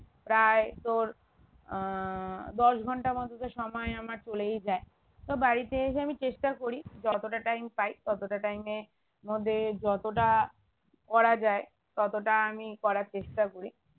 প্রায় তোর আহ দশ ঘন্টা মতো তোর সময় আমার চলেই যায় তো বাড়িতে এসে আমি চেষ্টা করি যতটা time পাই ততটা time এ মধ্যে যতটা করা যায় ততটা আমি করার চেষ্টা করি